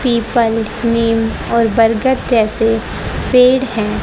People नीम और बरगद जैसे पेड़ है।